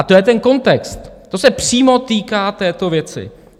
A to je ten kontext, to se přímo týká této věci.